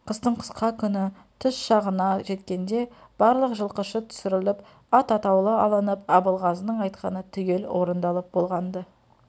қыстың қысқа күні түс шағына жеткенде барлық жылқышы түсіріліп ат атаулы алынып абылғазының айтқаны түгел орын-далып болған-ды